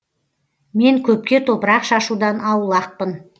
мен көпке топырақ шашудан аулақпын